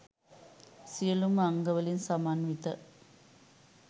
සියලුම අංගවලින් සමන්විත